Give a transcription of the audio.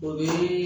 O bi